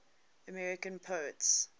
american poets